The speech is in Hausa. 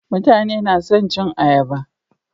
Mutane nason cin ayaba